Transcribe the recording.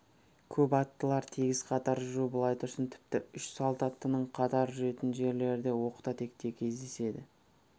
көп аттылар тегіс қатар жүру былай тұрсын тіпті үш салт аттының қатар жүретін жерлері де оқта-текте кездеседі